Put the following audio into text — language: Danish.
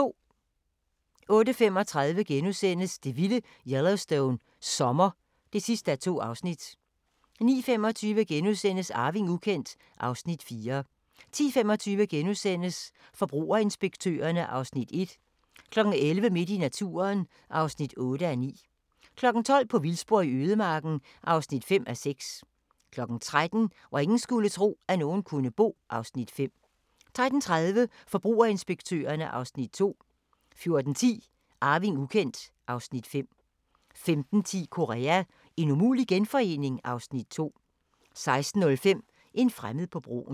08:35: Det vilde Yellowstone – sommer (2:2)* 09:25: Arving ukendt (Afs. 4)* 10:25: Forbrugerinspektørerne (Afs. 1)* 11:00: Midt i naturen (8:9) 12:00: På vildspor i ødemarken (5:6) 13:00: Hvor ingen skulle tro, at nogen kunne bo (Afs. 5) 13:30: Forbrugerinspektørerne (Afs. 2) 14:10: Arving ukendt (Afs. 5) 15:10: Korea – en umulig genforening? (Afs. 2) 16:05: En fremmed på broen